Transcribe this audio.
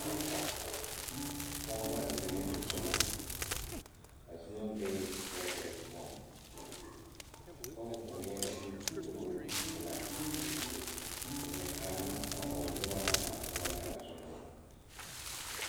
Pɔgɔ la zeŋ ne zumɔ. A zumɔ beɛ prɛtɛre poʊŋ. A pɔgɔ vogleɛ duko duko pulaa. O zeŋ kaara la a o noba na waana ka ba da a zumɔ